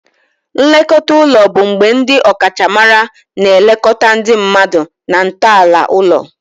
Nlekọta ụlọ bụ mgbe ndi ọkachamara na-elekọta ndị mmadụ na ntọala ụlọ.